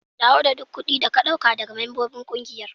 Dawo da duk kudi da ka daga membobin ƙungiyar.